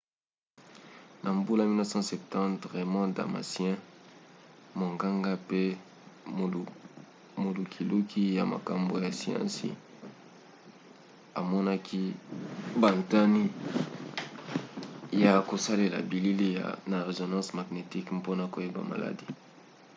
na mbula 1970 raymond damadian monganga mpe molukiluki ya makambo ya siansi amonaki bantina ya kosalela bilili na résonance magnétique mpona koyeba maladi